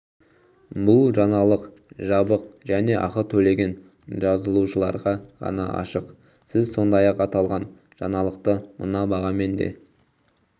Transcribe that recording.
бұл жаңалық жабық және ақы төлеген жазылушыларға ғана ашық сіз сондай-ақ аталған жаңалықты мына бағамен де